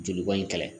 Joli bɔn in kɛlɛ